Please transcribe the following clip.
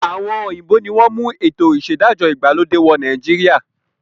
Àwọn òyìnbó ni wọn mú ètò ìṣedájọ́ ìgbàlódé wọ̀ Nàìjíríà